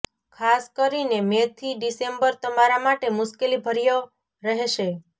ખાસ કરીને મે થી ડિસેમ્બર તમારા માટે મુશ્કેલીભર્યો રહેશે